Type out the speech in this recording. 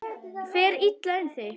Fer illa um þig?